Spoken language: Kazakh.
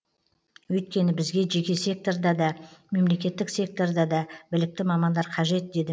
өйткені бізге жеке секторда да мемлекеттік секторда да білікті мамандар қажет деді